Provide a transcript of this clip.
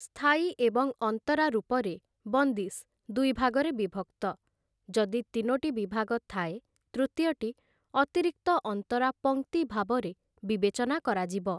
ସ୍ଥାୟୀ ଏବଂ ଅନ୍ତରା ରୂପରେ ବନ୍ଦିଶ୍‌ ଦୁଇ ଭାଗରେ ବିଭକ୍ତ ଯଦି ତିନୋଟି ବିଭାଗ ଥାଏ, ତୃତୀୟଟି ଅତିରିକ୍ତ ଅନ୍ତରା ପଂକ୍ତି ଭାବରେ ବିବେଚନା କରାଯିବ ।